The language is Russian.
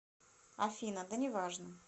афина да неважно